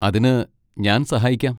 അതിന് ഞാൻ സഹായിക്കാം.